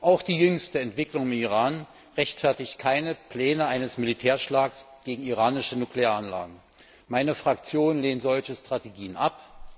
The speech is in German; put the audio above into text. Auch die jüngste Entwicklung im Iran rechtfertigt keine Pläne eines Militärschlags gegen iranische Nuklearanlagen. Meine Fraktion lehnt solche Strategien ab.